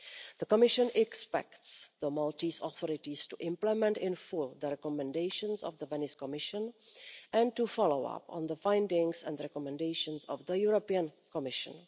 The Commission expects the Maltese authorities to implement in full the recommendations of the Venice Commission and to follow up on the findings and recommendations of the European Commission.